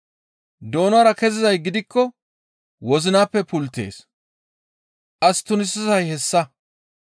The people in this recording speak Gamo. Doonara kezizay gidikko wozinappe pulttees. As tunisizay hessa.